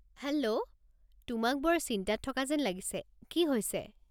Hello, তোমাক বৰ চিন্তাত থকা যেন লাগিছে, কি হৈছে?